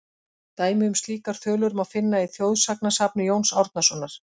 Dæmi um slíkar þulur má finna í þjóðsagnasafni Jóns Árnasonar:.